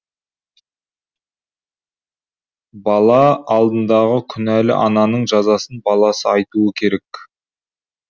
бала алдындағы күнәлі ананың жазасын баласы айтуы керек